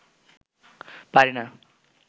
পারি না